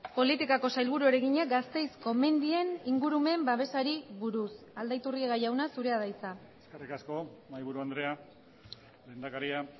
politikako sailburuari egina gasteizko mendien ingurumen babesari buruz aldaiturriaga jauna zurea da hitza eskerrik asko mahaiburu andrea lehendakaria